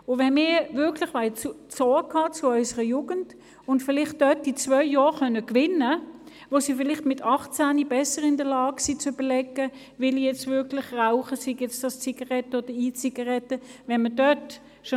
Wenn wir Sorge tragen wollen zu unseren Jugendlichen und zwei Jahre gewinnen können, sodass diese mit 18 Jahren bereits besser in der Lage sind, zu überlegen, ob sie rauchen wollen, müssen wir heute klar Ja sagen.